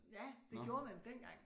Ja det gjorde man dengang